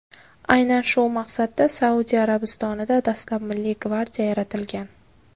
Aynan shu maqsadda Saudiya Arabistonida dastlab Milliy gvardiya yaratilgan.